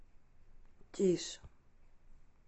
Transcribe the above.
тише